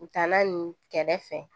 U taalan nin kɛrɛfɛ